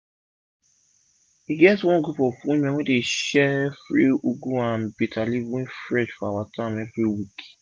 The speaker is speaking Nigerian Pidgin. e get one group of women wey dey share free ugu and bitter leaf wey fresh for town everi week